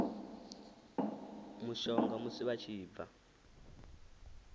mushonga musi vha tshi bva